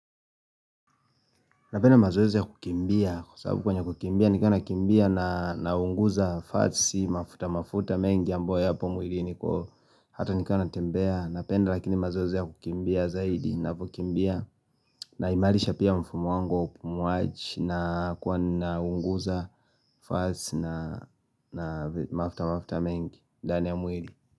Napenda mazoezi ya kukimbia kwa sababu kwenye kukimbia nikaa nakimbia na naunguza fatsi mafuta mafuta mengi ambayo yapo mwiliniko hata nikama natembea napenda lakini mazoezi ya kukimbia zaidi napo kimbia naimarisha pia mfumo wangu wa upumuaji na kuwa naunguza fatsi na na mafuta mafuta mengi ndani ya mwili.